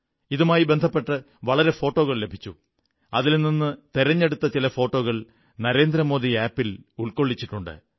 ഇതുമായി ബന്ധപ്പെട്ട് ധാരാളം ഫോട്ടോകൾ ലഭിച്ചു അതിൽ നിന്നു തിരഞ്ഞെടുത്ത ചില ഫോട്ടോകൾ നരേന്ദ്രമോദി ആപ് ൽ ഉൾക്കൊള്ളിച്ചിട്ടുണ്ട്